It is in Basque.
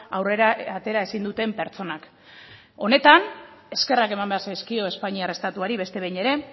aurrera atera ezin duten pertsonak honetan eskerrak eman behar zaizkio espainiar estatuari beste behin ere